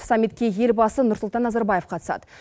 саммитке елбасы нұрсұлтан назарбаев қатысады